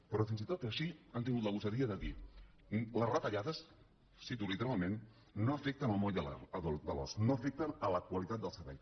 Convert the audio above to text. però fins i tot així han tingut la gosadia de dir les retallades ho cito literalment no afecten el moll de l’os no afecten la qualitat del servei